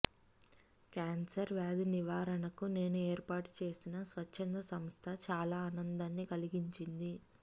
cancer వ్యాధి నివారణకు నేను ఏర్పాటు చేసిన స్వచ్ఛంద సంస్థ చాలా ఆనందాన్ని కలిగించింది